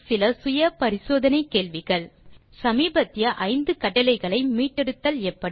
சமீபத்திய 5 கட்டளைகளை மீட்டெடுத்தல் எப்படி